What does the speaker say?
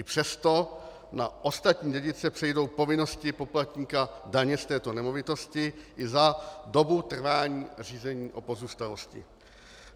I přesto na ostatní dědice přejdou povinnosti poplatníka daně z této nemovitosti i za dobu trvání řízení o pozůstalosti.